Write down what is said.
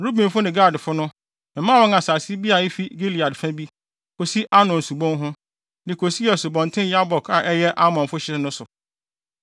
Rubenfo ne Gadfo no, memaa wɔn asase bi a efi Gilead fa bi, kosi Arnon subon ho, de kosii Asubɔnten Yabok a ɛyɛ Amonfo hye no so.